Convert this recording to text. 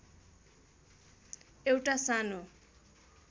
एउटा सानो